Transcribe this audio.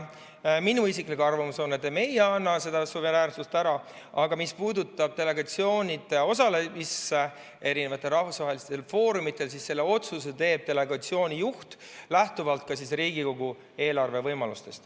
Minu isiklik arvamus on, et me ei anna seda suveräänsust ära, aga mis puudutab delegatsioonide osalemist rahvusvahelistel foorumitel, siis otsuse teeb delegatsiooni juht lähtuvalt ka Riigikogu eelarvelistest võimalustest.